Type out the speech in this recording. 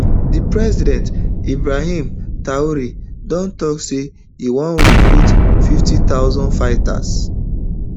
di president ibrahim traore don tok say e wan recruit fifty thousand fighters